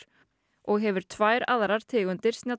og hefur tvær aðrar tegundir